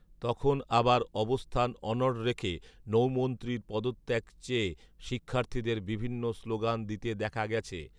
তখন আবার অবস্থান অনঢ় রেখে নৌমন্ত্রীর পদত্যাগ চেয়ে শিক্ষার্থীদের বিভিন্ন স্লোগান দিতে দেখা গেছে